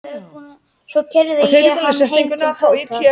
Svo keyrði ég hann heim til Tóta.